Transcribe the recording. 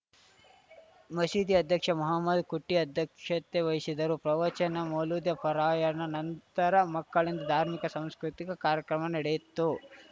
ಮಸೀದಿ ಅಧ್ಯಕ್ಷ ಮುಹಮ್ಮದ್‌ ಕುಟ್ಟಿಅಧ್ಯಕ್ಷತೆ ವಹಿಸಿದ್ದರು ಪ್ರವಚನ ಮೌಲೂದ್‌ ಪಾರಾಯಣ ನಂತರ ಮಕ್ಕಳಿಂದ ಧಾರ್ಮಿಕ ಸಾಂಸ್ಕೃತಿಕ ಕಾರ್ಯಕ್ರಮ ನಡೆಯಿತು